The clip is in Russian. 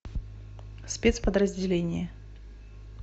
спецподразделение